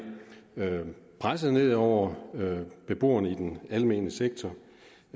presset ned over beboerne i den almene sektor